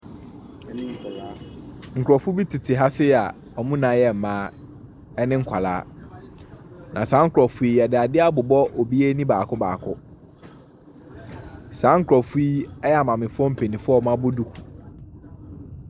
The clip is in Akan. Nkrɔfo tete ha sei a wɔn nyinaa yɛ mmaa ne nkwaraa. Na saankwaraa y yɛde adeɛ abobɔ obiara ani baako baako. Saa nkrɔfo yi yɛ maamefoɔ mpenimfoɔ a wɔabɔ duku ne nkwaraa.